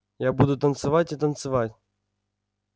я буду танцевать и танцевать